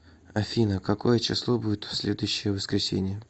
афина какое число будет в следующее воскресенье